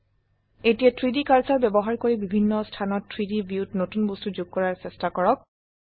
এতিয়া 3ডি কাৰ্সাৰ ব্যবহাৰ কৰি বিভিন্ন স্থানত 3ডি ভিউত নতুন বস্তু যোগ কৰাৰ চেষ্টা কৰক